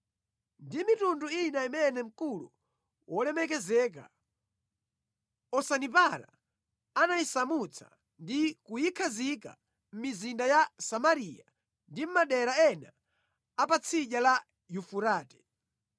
ndi mitundu ina imene mkulu wolemekezeka, Osanipara anayisamutsa ndi kuyikhazika mʼmizinda ya Samariya ndi mʼmadera ena apatsidya la Yufurate.